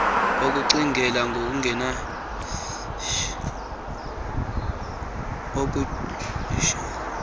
ukucingela ngokungenatyala kuhambisana